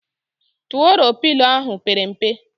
Turuọ Pịlo ahụ pere mpe